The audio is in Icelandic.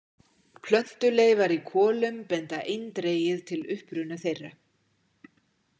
Plöntuleifar í kolum benda eindregið til uppruna þeirra.